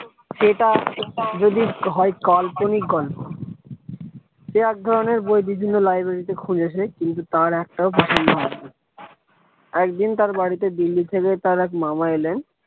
সেটা যদি হয় কাল্পনিক গল্প সে এক ধরণের বই বিভিন্ন library তে খুঁজেছে কিন্তু তার একটাও প্রচন্দ হয়নি একদিন তার বাড়িতে দিল্লি থেকে তার এক মামা এলেন।